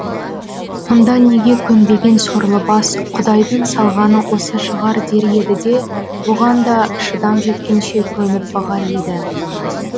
онда неге көнбеген сорлы бас құдайдың салғаны осы шығар дер еді де бұған да шыдам жеткенше көніп бағар еді